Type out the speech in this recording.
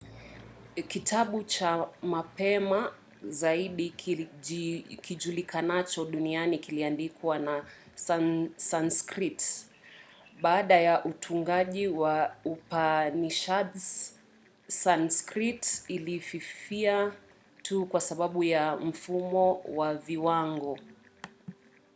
kitabu cha mapema zaidi kijulikanacho duniani kiliandikwa kwa sanskrit. baada ya utungaji wa upanishads sanskrit ilififia tu kwa sababu ya mfumo wa viwango